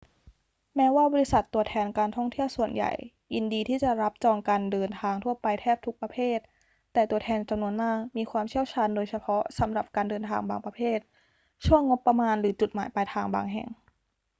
แม้ว่าบริษัทตัวแทนการท่องเที่ยวส่วนใหญ่ยินดีที่จะรับจองการเดินทางทั่วไปแทบทุกประเภท แต่ตัวแทนจำนวนมากมีความเชี่ยวชาญโดยเฉพาะสำหรับการเดินทางบางประเภท ช่วงงบประมาณหรือจุดหมายปลายทางบางแห่ง